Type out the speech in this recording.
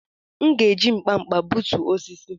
M'gēji nkpa-nkpa b͕utu osisi.